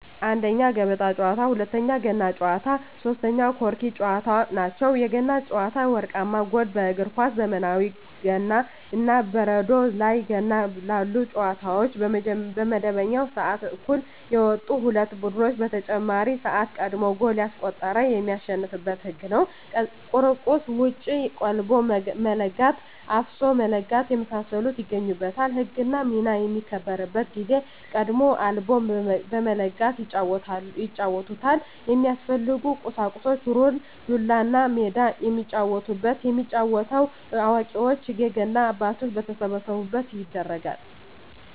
1ኛ, የገበጣ ጨዋታ, 2ኛ, የገና ጨዋታ, 3ኛ የቆርኪ ጨዋታ ናቸው። የገና ጨዋታ የወርቃማ ጎል በእግር ኳስ ዘመናዊ ገና እና የበረዶ ላይ ገና ባሉ ጨዋታዎች በመደበኛው ስዓት እኩል የወጡ ሁለት ቡድኖች በተጨማሪ ስዓት ቀድሞ ጎል ያስቆጠረ የሚያሸንፋበት ህግ ነው ቁርቁዝ ሙጭ ,ቀልቦ መለጋት ,አፍሶ መለጋት የመሳሰሉት ይገኙበታል። ህግና ሚና በሚከበርበት ጊዜ ደግሞ ቀልቦ በመለጋት ይጫወቱታል። የሚያስፈልጉ ቁሳቁስ ሩር, ዱላ, እና ሜዳ የሚጫወቱበት። የሚጫወተው አዋቂዎች የገና አባቶች በተሰበሰቡበት ይደረጋል።